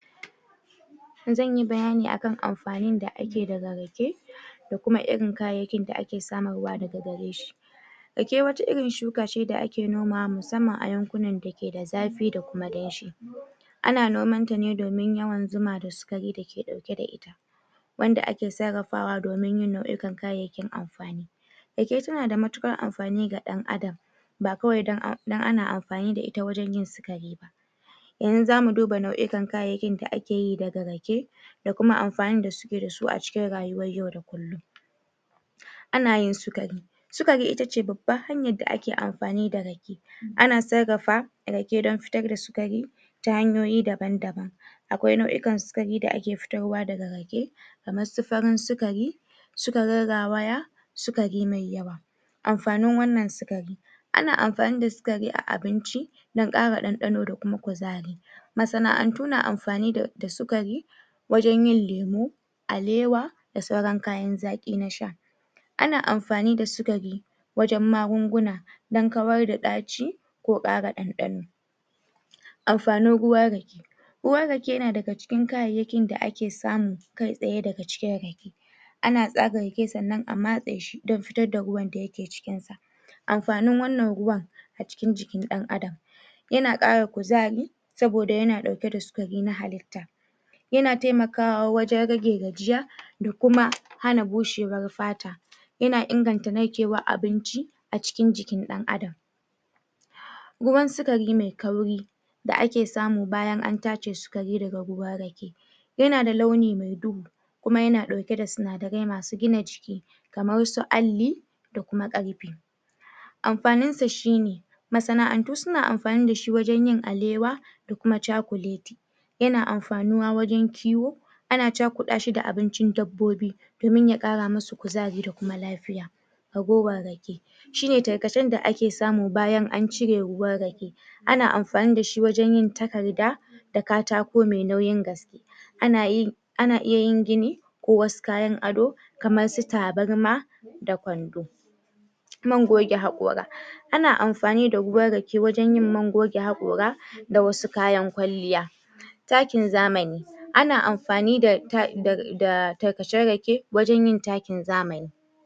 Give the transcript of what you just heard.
zanyi bayani akan amfani da akeyi daga rage da irin kayayyakin da ake samun ruwa daga gareshi rake wani irin shuka da ake nomawa musamman a yankunan da suke da zafi da kuma danshi ana nomanta ne domin yawan zuma da sukari dake dauke da ita wanda ake sarrafawa domin yin nau'ikan kayayyakin amfani rake suna da matukar amfani da dan adam ba kawai dan ana amfani da ita don yin sukari ba yanzu da mu duba nau'ukan kayayyakin da akeyi da rake da kuma amfanin da suke dasu acikin rayuwar yau da kullum ana yin sukari sukari itace babban hanyan da ake amfani da rake ana sarrafa rake don fitar da sukari ta hanyoyi daban daban akwai nau'ukan sukari da ake fitarwa daga rake kamae su farin sukari sukarin rawaya sukari mai yawa amfanin wannan sukarin ana amfani da sukari a abinci dan kara dandano da kuma kuzari masa na'antu na amfani da sukatri wajen yin lemu alewa da sauran yin kayanzaki nasha ana amfanin da sukari wajen magunguna dan kawar da daci ko kara dandano amafanin ruwan rake ruwan rake na daga cikin kayayayyakin da ake samu kai tsaye daga cikin rake ana tsaga rake sannan a matse shi don fitar da ruwan da ya ke cikin sa amfanin wannan ruwan acikin jikin dan adam yana kara kuzari saboda yana dauke da sinadari na halitta yana temakawa wajen rage gajiya da kuma hana bushewar fata yana inganta narkewar abinci acikin jikin dan adam ruwan sukari me kauri da ake samu bayan an tace sikari daga ruwan rake yana da launi me duhu kuma yana dauke da sinadarai masu gina jiki kamar su alli da kuma karfi amfaninsa shine masana'antu suna amfani dashi wajen yin alewa da kuma cakuleti yana amfanuwa wajen kiwo ana cakudashi da abincin dabbobi domin ya kara masu kuzari da kuma lafiya ragowar rake shine tarkacen da ake samu bayan an cire ruwan rake ana amfani da shi wajen yin takarda da katako me nauyin gaske anayin ana iyin gini ko wasu kayan ado kamar su tabarma da kwando man goge hakora ana amfani da ruwan rake wajen yin man goge hakora da wasu kayan kwalliya ta kin zamani ana amfani da da dagajin rake wajen yin takin zamani